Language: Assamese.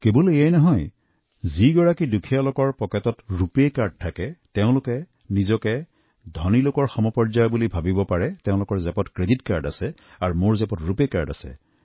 কেৱল ইমানেই নহয় যেতিয়া দৰিদ্ৰ মানুহৰ ওচৰত ৰূপে কাৰ্ড থাকে তেওঁলোকৰ মনত এনে হৈছে ধনী লোকসকলৰ পকেটত যিমান ক্ৰে়ডিট কাৰ্ড থাকে মোৰ ওচৰতো ৰুপে কাৰ্ড আছে